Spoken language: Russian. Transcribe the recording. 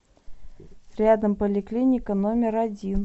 рядом поликлиника номер один